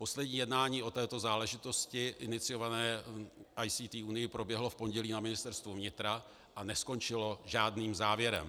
Poslední jednání o této záležitosti iniciované ICT unií proběhlo v pondělí na Ministerstvu vnitra a neskončilo žádným závěrem.